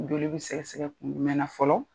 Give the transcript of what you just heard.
Joli bɛ sɛgɛ sɛgɛ kun jumɛn na fɔlɔ.